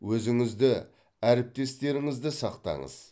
өзіңізді әріптестеріңізді сақтаңыз